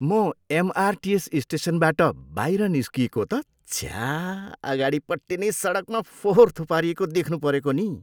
म एमआरटिएस स्टेसनबाट बाहिर निस्किएको त छ्या अगाडिपट्टि नै सडकमा फोहोर थुपारिएको देख्नु परेको नि।